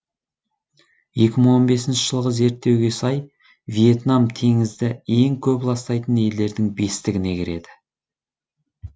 екі мың он бесінші жылғы зерттеуге сай вьетнам теңізді ең көп ластайтын елдердің бестігіне кіреді